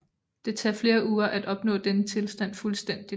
Det tager flere uger at opnå denne tilstand fuldstændigt